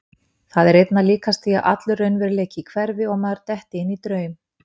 Það er einna líkast því að allur raunveruleiki hverfi og maður detti inn í draum.